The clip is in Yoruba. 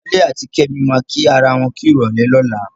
Wálé àti Kẹ́mi máa kí ara wọn kú ìrọ̀lẹ́ lọ́la.